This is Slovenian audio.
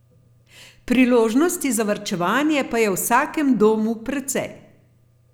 Priložnosti za varčevanje pa je v vsakem domu precej.